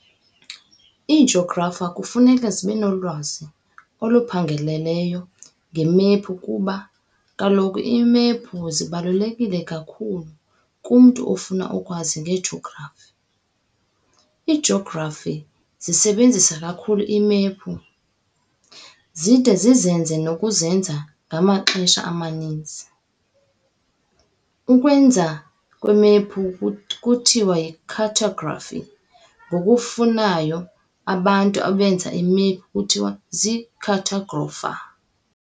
iijografa kufuneka zibenolwazi oluphangaleleyo ngeemephu kuba kaloku iimephu zibaluleke kakhulu kumntu ofuna ukwazi ngejografi. Iijografi zizisebenzisa kakhulu iimephu, zide zizenze nokuzenza ngamaxesha amaninzi. ukwenziwa kwememphu kuthiwa yi"cartografi", Ngokufanayo, abantu abenza iimephu kuthiwa zii"cartografa".